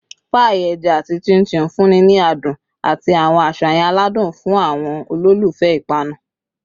paii eja ati chin chin nfunni ni adun ati awọn aṣayan aladun fun awọn ololufẹ ipanu